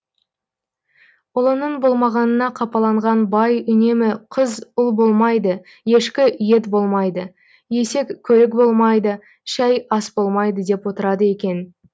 ұлының болмағанына қапаланған бай үнемі қыз ұл болмайды ешкі ет болмайды есек көлік болмайды шәй ас болмайды деп отырады екен